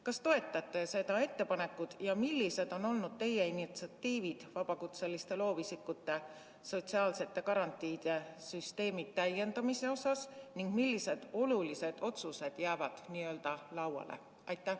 Kas te toetate seda ettepanekut ning millised on olnud teie ettepanekud vabakutseliste loovisikute sotsiaalsete garantiide süsteemi täiendamise osas ja millised olulised otsused jäävad n-ö lauale?